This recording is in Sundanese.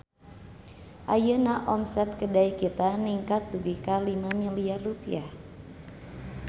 Ayeuna omset Kedai Kita ningkat dugi ka 5 miliar rupiah